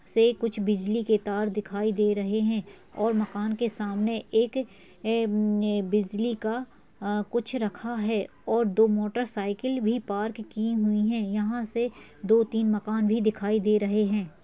से कुछ बिजली के तार दिखाई दे रहे हैं और मकान के सामने एक ए-उम-ने बिजली का आ कुछ रखा है और दो मोटरसाइकिल भी पार्क की हुई हैं। यहाँ से दो तीन मकान भी दिखाई दे रहे हैं।